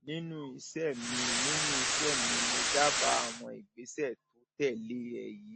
nínú iṣẹ mi nínú iṣẹ mi mo dábàá àwọn ìgbésẹ tó tẹlé e yìí